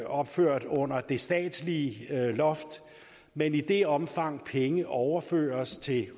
opført under det statslige loft men i det omfang penge overføres til